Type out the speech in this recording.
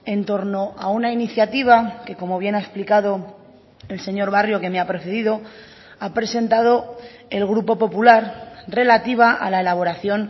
en torno a una iniciativa que como bien ha explicado el señor barrio que me ha precedido ha presentado el grupo popular relativa a la elaboración